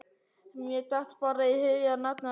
Mér datt bara í hug að nefna þetta.